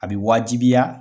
A bi waajibiya